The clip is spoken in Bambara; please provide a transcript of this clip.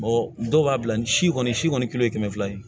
dɔw b'a bila ni si kɔni si kɔni kelen ye kɛmɛ fila ye